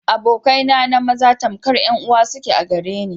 Abokai na maza kankar 'yan uwa suke a gare na.